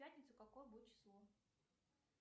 в пятницу какое будет число